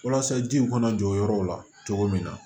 Walasa jiw kana jɔ yɔrɔw la cogo min na